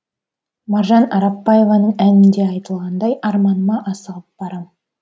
маржан арапбаеваның әнінде айтылғандай арманыма асығып барам